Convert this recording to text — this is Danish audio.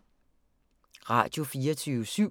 Radio24syv